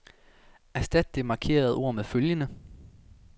Erstat det markerede ord med følgende.